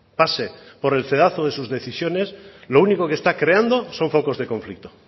pase por el cedazo de sus decisiones lo único que está creando son focos de conflicto